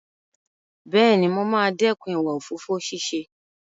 Bẹ́ẹ̀ni, mo máa dẹ́kun ìwà òfófó ṣíṣe.